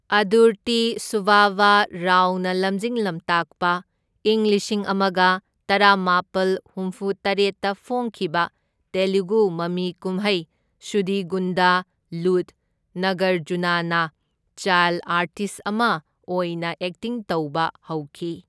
ꯑꯗꯨꯔꯇꯤ ꯁꯨꯕꯕꯥ ꯔꯥꯎꯅ ꯂꯝꯖꯤꯡ ꯂꯝꯇꯥꯛꯄ ꯏꯪ ꯂꯤꯁꯤꯡ ꯑꯃꯒ ꯇꯔꯥꯃꯥꯄꯜ ꯍꯨꯝꯐꯨꯇꯔꯦꯠꯇ ꯐꯣꯡꯈꯤꯕ ꯇꯦꯂꯨꯒꯨ ꯃꯃꯤꯀꯨꯝꯍꯩ ꯁꯨꯗꯤꯒꯨꯟꯗꯂꯨꯗ ꯅꯥꯒꯔꯖꯨꯅꯥꯅ ꯆꯥꯢꯜ ꯑꯥꯔꯇꯤꯁꯠ ꯑꯃ ꯑꯣꯏꯅ ꯑꯦꯛꯇꯤꯡ ꯇꯧꯕ ꯍꯧꯈꯤ꯫